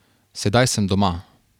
Sedaj sem doma.